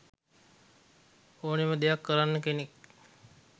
ඕනෙම දෙයක් කරන කෙනෙක්.